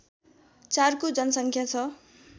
४ को जनसङ्ख्या छ